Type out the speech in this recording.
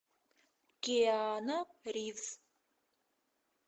киану ривз